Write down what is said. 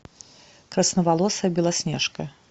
красноволосая белоснежка